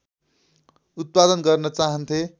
उत्पादन गर्न चाहन्थे